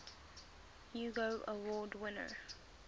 hugo award winner